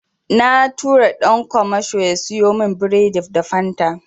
Na tura ɗan kwamasho ya siyo min biredi da Fanta.